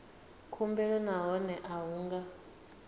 khumbelo nahone a hu nga